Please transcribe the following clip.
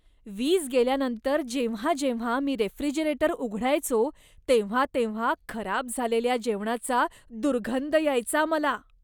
वीज गेल्यानंतर जेव्हा जेव्हा मी रेफ्रिजरेटर उघडायचो, तेव्हा तेव्हा खराब झालेल्या जेवणाचा दुर्गंध यायचा मला.